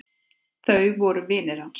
Þau voru vinir hans.